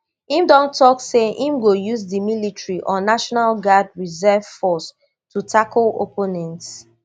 im don tok say im go use di military or national guard reserve force to tackle opponents